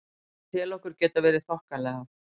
Ég tel okkur geta verið þokkalega.